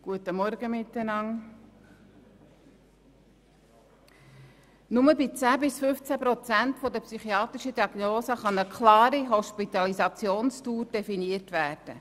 Nur bei 10 bis 15 Prozent der psychiatrischen Diagnosen kann eine klare Hospitalisationsdauer definiert werden.